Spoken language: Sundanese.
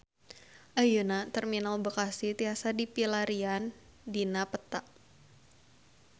Ayeuna Terminal Bekasi tiasa dipilarian dina peta